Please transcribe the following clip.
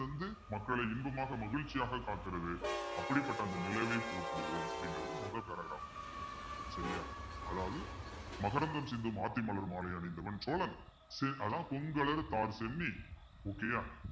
தந்து மக்களை இன்பமாக மகிழ்ச்சியாக காக்கிறது அப்படிப்பட்ட அந்த நிலவை போற்றுவோம் அப்படிங்கிறது சரியா அதாவது மகரந்தம் சிந்தும் ஆத்தி மலர் மாலை அணிந்தவன் சோழன் okay யா